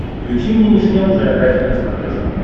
включи мне нейшенел джеографик на смотрешке